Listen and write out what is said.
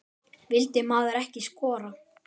Vildi maðurinn ekki skora?